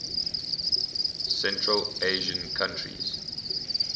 central asian countries